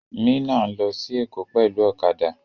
Mina n lọ sí Èkó pẹlu ọ̀kadà.